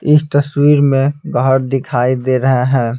इस तस्वीर में गहर दिखाई दे रहे हैं.